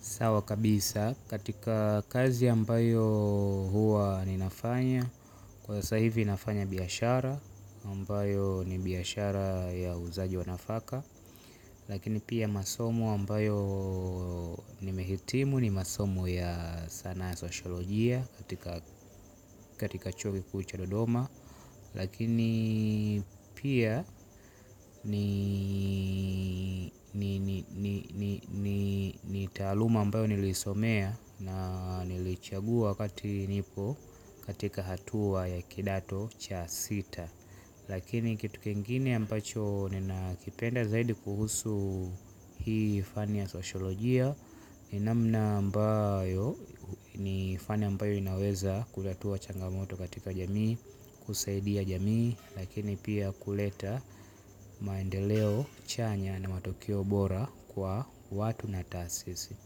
Sawa kabisa katika kazi ambayo huwa ninafanya. Kwa saa hivi ninafanya biashara ambayo ni biashara ya uuzaji wa nafaka. Lakini pia masomo ambayo nimehitimu ni masomo ya sanaa ya sosholojia. Katika chuo kikuu cha dodoma lakini pia ni taaluma ambayo nilisomea. Na nilichagua kati nipo katika hatua ya kidato cha sita. Lakini kitu kengine ambacho ninakipenda zaidi kuhusu hii fani ya sosholojia. Ni namna ambayo ni fani ambayo inaweza kulatua changamoto katika jamii. Kusaidia jamii lakini pia kuleta maendeleo chanya na matokeo bora kwa watu na taasisi.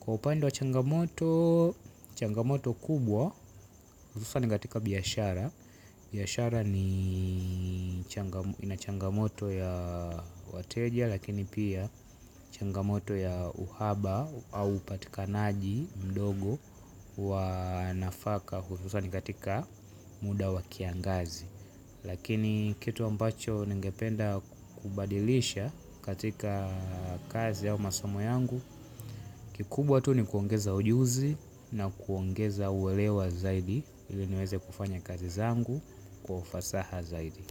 Kwa upande wa changamoto, changamoto kubwa, sasa ni katika biaashara, biashara ni inachangamoto ya wateja lakini pia changamoto ya uhaba au upatikanaji mdogo wa nafaka hususa ni katika muda wa kiangazi. Lakini kitu ambacho ningependa kubadilisha katika kazi au masomo yangu. Kikubwa tu ni kuongeza ujuzi na kuongeza uelewa zaidi ili niweze kufanya kazi zangu kwa ufasaha zaidi.